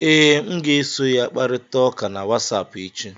Ee, m ga-eso ya kparịta ụka na Wasapụ echi